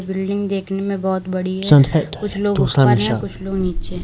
building देखने में बहोत बड़ी है कुछ लोग ऊपर है कुछ लोग नीचे--